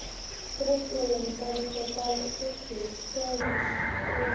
Hreggviður, en það var þá bara Diddi bróðir hans Grjóna.